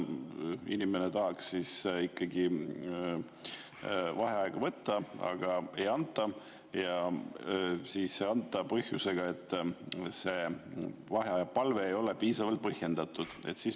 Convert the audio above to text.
Inimene tahab vaheaega võtta, aga ei anta, ja ei anta põhjusega, et see vaheaja palve ei ole piisavalt põhjendatud.